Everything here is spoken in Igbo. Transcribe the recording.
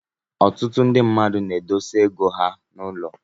Ọtụtụ ndị mmadụ na-edozi ego ha n'ụlọ.